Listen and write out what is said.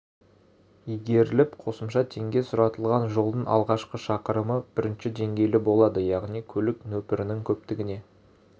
игеріліп қосымша теңге сұратылған жолдың алғашқы шақырымы бірінші деңгейлі болады яғни көлік нөпірінің көптігіне